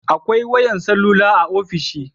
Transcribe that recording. Akwai wayar salula a ofishi